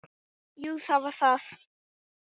Jú, það var það.